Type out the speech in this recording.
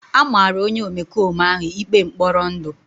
A mara onye omekome ahụ ikpe mkpọrọ ndụ.